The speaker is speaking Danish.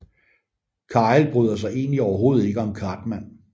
Kyle bryder sig egentlig overhovedet ikke om Cartman